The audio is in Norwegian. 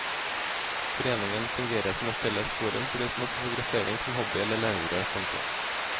Foreningen fungerer som et felles forum for de som har fotografering som hobby eller levebrød. punktum